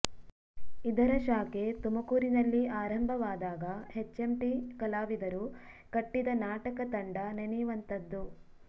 ಇದರ ಶಾಖೆ ತುಮಕೂರಿನಲ್ಲಿ ಆರಂಭವಾದಾಗ ಎಚ್ಎಂಟಿ ಕಲಾವಿದರು ಕಟ್ಟಿದ ನಾಟಕ ತಂಡ ನೆನೆಯುವಂಥದ್ದು